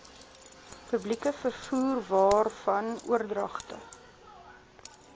publieke vervoerwaarvan oordragte